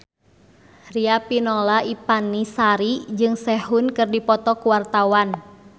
Riafinola Ifani Sari jeung Sehun keur dipoto ku wartawan